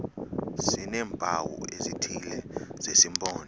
sineempawu ezithile zesimpondo